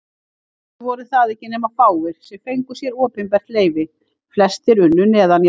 Að vísu voru það ekki nema fáir, sem fengu sér opinbert leyfi, flestir unnu neðanjarðar.